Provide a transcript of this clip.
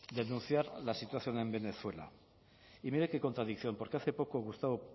denunciar la situación en venezuela y mire qué contradicción porque hace poco gustavo